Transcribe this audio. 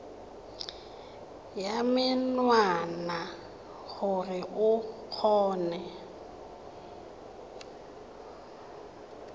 ya menwana gore o kgone